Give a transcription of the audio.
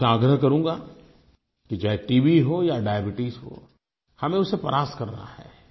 मैं आपसे आग्रह करूँगा कि चाहे टीबी हो या डायबीट्स हो हमें उसे परास्त करना है